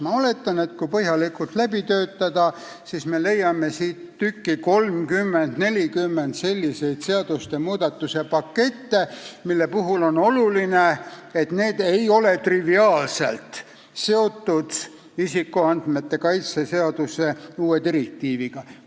Ma oletan, et kui see eelnõu põhjalikult läbi töötada, siis me leiame siit tükki 30–40 selliseid seadusmuudatuste pakette, mille puhul on oluline, et need ei ole triviaalselt seotud isikuandmete kaitse seadusega, uue direktiiviga.